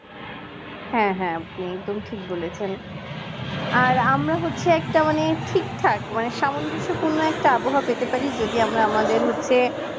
হ্যাঁ হ্যাঁ আপনি তুমি ঠিক বলেছেন আর আমরা হচ্ছি একটা মানে ঠিক থাকে মানে সামঞ্জস্যপূর্ণ একটা আবহাওয়া পেতে পারি যদি আমরা আমাদের হচ্ছে